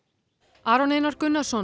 Aron Einar Gunnarsson